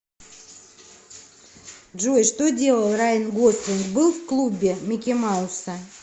джой что делал райан гослинг был в клубе микки мауса